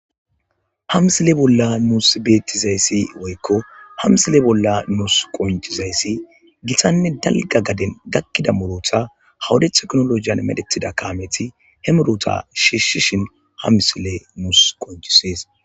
Ha misile bollan nusi qonc'isizayisi giththanne dalgga gadde giddon gakkidda muruththa ha wodde yida techinologen medhdhetiza kametti he muruththa shshishin ha misile nusi qonc'ises.